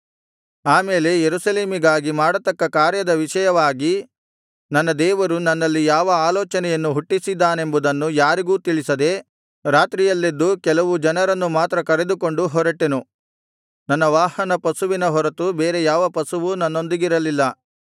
ಆಮೇಲೆ ಯೆರೂಸಲೇಮಿಗಾಗಿ ಮಾಡತಕ್ಕ ಕಾರ್ಯದ ವಿಷಯವಾಗಿ ನನ್ನ ದೇವರು ನನ್ನಲ್ಲಿ ಯಾವ ಆಲೋಚನೆಯನ್ನು ಹುಟ್ಟಿಸಿದ್ದಾನೆಂಬುದನ್ನು ಯಾರಿಗೂ ತಿಳಿಸದೆ ರಾತ್ರಿಯಲ್ಲೆದ್ದು ಕೆಲವು ಜನರನ್ನು ಮಾತ್ರ ಕರೆದುಕೊಂಡು ಹೊರಟೆನು ನನ್ನ ವಾಹನಪಶುವಿನ ಹೊರತು ಬೇರೆ ಯಾವ ಪಶುವೂ ನನ್ನೊಂದಿಗಿರಲಿಲ್ಲ